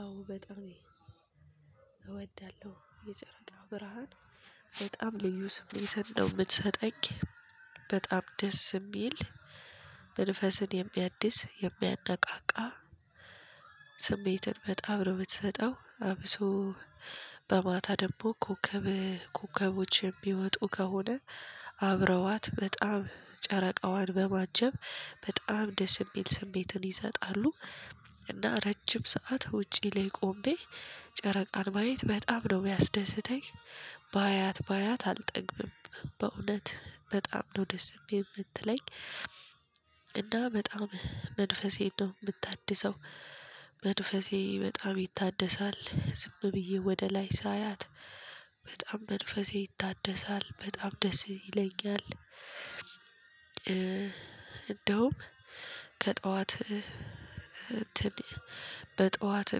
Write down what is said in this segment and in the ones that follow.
አዎ በጣም እወዳለሁ የጨረቃው ብርሃን በጣም ልዩ ስሜት ነው የምትሰጠኝ በጣም ደስ የሚል መንፈስን የሚያድስ የሚያነቃቃ ስሜትን በጣም ነው የምትሰጠው። አብሶ በማታ ደግሞ ኮከብ ኮከቦች የሚወጡ ከሆነ አብረዋት በጣም ጨረቃዋን በማጀብ በጣም ደስ የሚል ስሜትን ይሰጣሉ። እና ረጅም ሰዓት ውጪ ላይ ቆሜ ጨረቃን ማየት በጣም ነው ሚያስደስተኝ። ባያት ባያት አልጠግብም በእውነት በጣም ነው ደስ የምትለኝ። እና በጣም መንፈሴ ነው የምታድሰው። መንፈሴ በጣም ይታደሳል ዝም ብዬ ወደ ላይ ሳያት በጣም መንፈሴ ይታደሳል በጣም ደስ ይለኛል። እንደውም ከጠዋት በጠዋት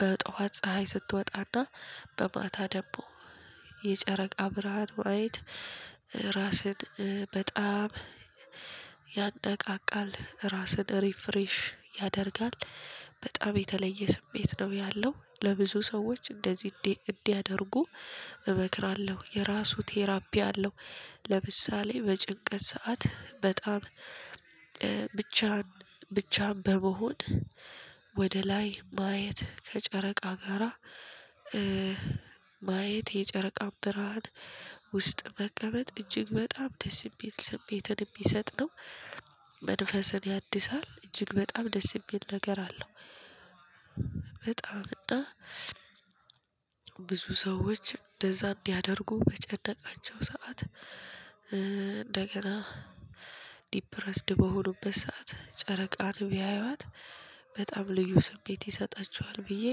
በጧት ፀሀይ ስትወጣና በማታ ደግሞ የጨረቃ ብርሃን ዋይት ራስን በጣም ያነቃቃል ራስን ሪፍሬሽ ያደርጋል። በጣም የተለየ ስሜት ነው ያለው ለብዙ ሰዎች እንደዚህ እንዲህ እንዲያደርጉ እመክራለሁ የራሱ ቴራፒ አለው። ለምሳሌ በጭንቀት ሰዓት በጣም ብቻ ብቻን በመሆን ወደ ላይ ማየት ከጨረቃ ጋራ ማየት የጨረቃ ብርሃን ውስጥ መቀመጥ እጅግ በጣም ደስ ይል ቤትን የሚሰጥ ነው። መንፈስን ያድሳል እጅግ በጣም ደስ የሚል ነገር አለው። በጣም እና ብዙ ሰዎች እንደዛ እንዲያደርጉ በጨነቃቸው ሰዓት እንደገና ዲፕረስድ በሆኑበት ሰዓት ጨረቃን ቢያያት በጣም ልዩ ስሜት ይሰጣችኋል ብዬ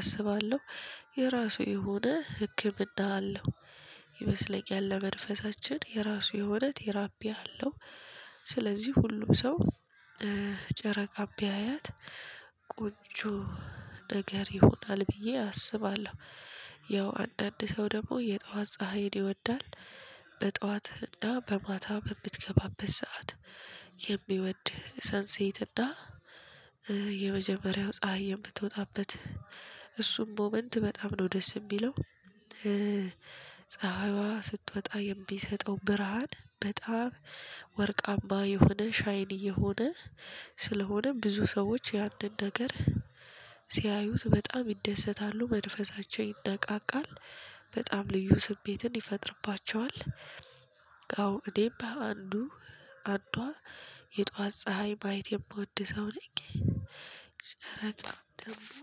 አስባለሁ። የራሱ የሆነ ህክምና አለው። ይመስለኛል ለመንፈሳችን የራሱ የሆነ ቴራፒ አለው። ስለዚህ ሁሉ ሰው ጨረቃን ቢያያት ቆንጆ ነገር ይሆናል ብዬ አስባለሁ። ያው አንዳንድ ሰው ደግሞ የጧት ፀሀይን ይወዳል። በጧት እና በማታ በምትገባበት ሰዓት የሚወድ ሰንሴት እና የመጀመሪያው ፀሀይ የምትወጣበት እሱም ሞመንት በጣም ነው ደስ የሚለው። ፀሀይዋ ስትወጣ የሚሰጠው ብርሃን በጣም ወርቅ አምባ የሆነ ሻይን እየሆነ ስለሆነም ብዙ ሰዎች የአንድ ነገር ሲያዩት በጣም ይደሰታሉ መንፈሳቸው ይነቃቃል። በጣም ልዩ ስሜትን ይፈጥርባቸዋል። አዎ እኔም በአንዱ አንዷ የጧት ፀሀይ ማይት የምወድ ሰው ነኝ። ጨረቃ ደግሞ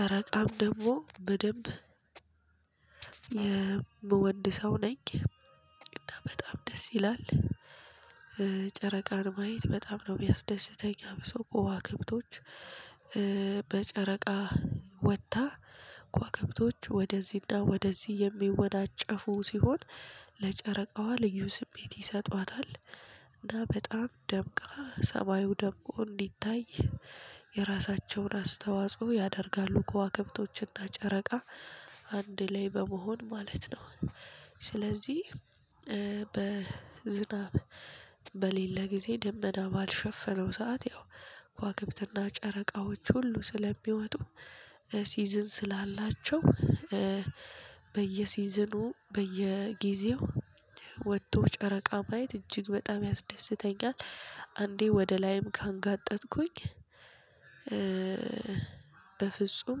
ጨረቃም ደግሞ በደንብ የምወድ ሰው ነኝ። እና በጣም ደስ ይላል። ጨረቃን ማየት በጣም ነው የሚያስደስተኝ አብሶ ከዋክብቶች በጨረቃ ወጥታ ከዋክብቶች ወደዚህና ወደዚህ የሚወናጨፉ ሲሆን ለጨረቃዋ ልዩ ስሜት ይሰጧታል። እና በጣም ደምቃ ሰማዩ ደምቆ እንዲታይ የራሳቸውን አስተዋጽኦ ያደርጋሉ ከዋክብቶችና ጨረቃ አንድ ላይ በመሆን ማለት ነው። ስለዚህ በዝናብ በሌለ ጊዜ ደመና ባልሸፈነው ሰዓት ያው ከዋክብትና ጨረቃዎች ሁሉ ስለሚወጡ ሲዝን ስላላቸው በየሲዝኑ በየጊዜው ወጥቶ ጨረቃ ማየት እጅግ በጣም ያስደስተኛል። አንዴ ወደ ላይም ካንጋጠጥኩኝ በፍጹም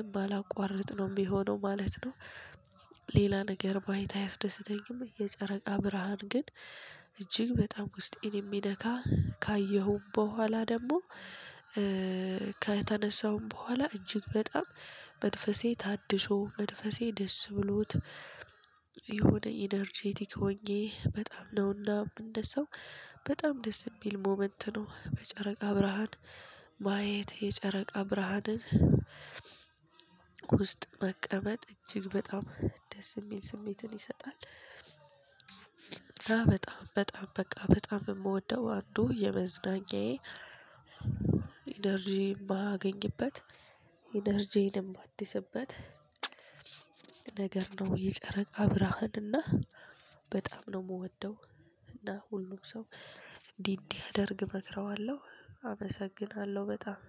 የማላቋርጥ ነው የሚሆነው ማለት ነው። ሌላ ነገር ማየት አያስደስተኝም የጨረቃ ብርሃን ግን እጅግ በጣም ውስጤን የሚነካ ካየሁም በኋላ ደግሞ ከተነሳውም በኋላ እጅግ በጣም መንፈሴ ታድሶ መንፈሴ ደስ ብሎት። የሆነ ኢነርጃቲክ ሆኜ በጣም ነው እንደው ሰው በጣም ደስ የሚል ሞመንት ነው በጨረቃ ብርሃን። ማየት የጨረቃ ብርሃንን ውስጥ መቀመጥ እጅግ በጣም ደስ የሚል ስሜትን ይሰጣል። በጣም በጣም በቃ በጣም የምወደው አንዱ የመዝናኛየ ኢነርጂ የማገኝበት ኢነርጂየንም ማድስበት ነገር ነው የጨረቃ ብርሃንና በጣም ነው የምወደው። እና ሁሉ ሰው እንዲህ እንዲያደርግ እመክረዋለሁ አመሰግናለሁ። በጣም